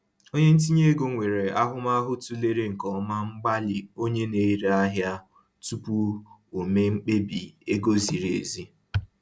Onye ntinye ego nwere ahụmahụ tụlere nke ọma mgbalị onye na-ere ahịa tupu o mee mkpebi ego ziri ezi